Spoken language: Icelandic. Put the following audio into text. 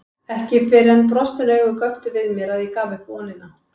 Ekki fyrr en brostin augu göptu við mér að ég gaf upp vonina.